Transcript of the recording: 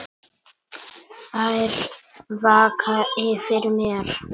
Þær vaka yfir mér.